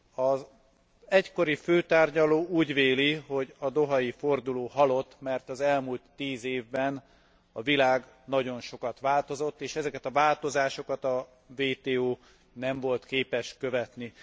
Az egykori főtárgyaló úgy véli, hogy a dohai forduló halott, mert az elmúlt tíz évben a világ nagyon sokat változott, és ezeket a változásokat a WTO nem volt képes követni.